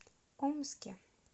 омске